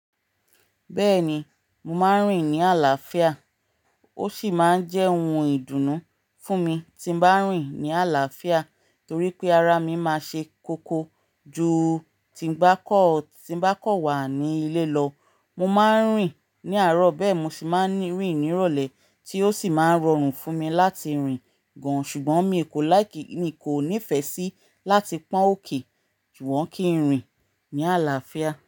Bẹ́ẹ̀ ni, mo máa ń rìn ní àlàáfíà ó sì máa ń jẹ́ ohun ìdùnnú fún mi tí mo bá ń rìn ní àlàáfíà torí pé ara mi máa ṣe kókó ju tí bá kọ wà ní ilé lọ. Mo máa ń rìn ní àárọ̀ bẹ́ẹ̀ mi sì máa ń rìn ní ìrọ̀lẹ́ tí ó sì máa ń rọrùn fún mi láti rìn gan. Ṣùgbọ́n mi kò like. Mi kò nífẹ̀ẹ́ sí láti pọ́n òkè sugbon kí ń rìn ní àlàáfíà.